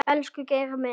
Elsku Geiri minn.